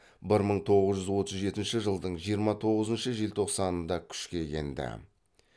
бір мың тоғыз жүз отыз жетінші жылдың жиырма тоғызыншы желтоқсанында күшке енді